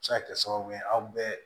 Se ka kɛ sababu ye aw bɛɛ